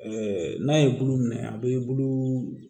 n'a ye bulu minɛ a bɛ bulu